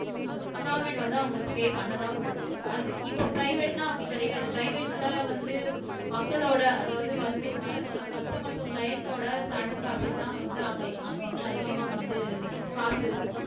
government வந்து அவங்களுக்கு pay பண்ணதான் போகுது அது இப்ப பிரைவேட்ன்னா அப்படி கிடையாது பிரைவேட்ல வந்து மக்களோட அதாவது வந்து வர்ற கஸ்டமர்ஸோ கிளைன்ட்டோட சாடிஸ்பாக்ஷன் தான் வந்து அங்க அங்க வந்து அதிகமா வந்து காசு